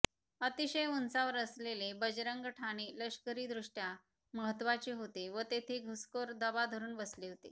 अतिशय उंचावर असलेले बजरंग ठाणे लष्करीदृष्टया महत्त्वाचे होते व तेथे घुसखोर दबा धरून बसले होते